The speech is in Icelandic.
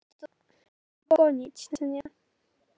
Fyrst yður, göfugi keisari Þýskalands.